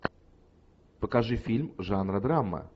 покажи фильм жанра драма